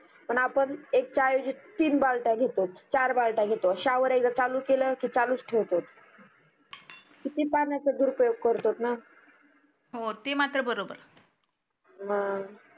पण आपण एक चा एवजी तीन बलट्या घेतो चार बलट्या घेतो sawer एकदा चालू केल की चालूच ठेवतो कीती पाण्याचा दुरुपयोग करतो ना हो ते मात्र बरोबर मग